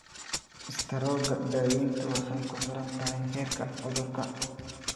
Istaroogga, daaweyntu waxay kuxirantahay heerka cudurka.